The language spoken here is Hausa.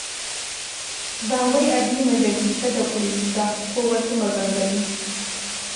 Ba wai a bi mu da bi-ta-da-ƙulli ba, ko wasu maganganu.